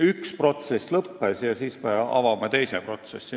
Üks protsess alles lõppes ja nüüd me alustame teist protsessi.